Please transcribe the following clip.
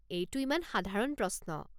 এইটো ইমান সাধাৰণ প্ৰশ্ন।